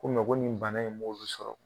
Ko ko nin bana in m'o sɔrɔ